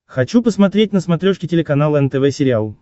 хочу посмотреть на смотрешке телеканал нтв сериал